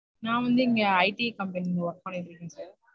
நான் வந்து இங்க iti company ல work பண்ணிட்டு இருக்கேன் sir